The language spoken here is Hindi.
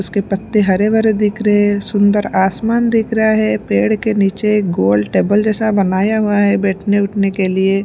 उसके पत्ते हरे भरे दिख रहे हैं सुंदर आसमान दिख रहा है पेड़ के नीचे गोल टेबल जैसा बनाया हुआ है बैठने उठने के लिए --